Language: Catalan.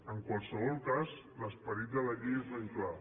en qualsevol cas l’esperit de la llei és ben clar